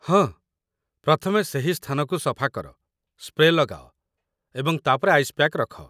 ହଁ, ପ୍ରଥମେ ସେହି ସ୍ଥାନକୁ ସଫା କର, ସ୍ପ୍ରେ ଲଗାଅ, ଏବଂ ତା'ପରେ ଆଇସ୍ ପ୍ୟାକ୍ ରଖ